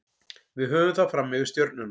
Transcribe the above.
Við höfum það fram yfir Stjörnuna.